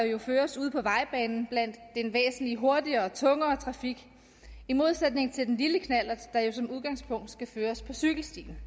jo føres ude på vejbanen blandt den væsentlig hurtigere og tungere trafik i modsætning til den lille knallert der jo som udgangspunkt skal føres på cykelstien